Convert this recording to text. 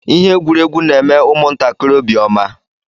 Ihe egwuregwu n'eme ụmụ ntakịrị obi ọma.